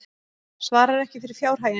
Svarar ekki fyrir fjárhaginn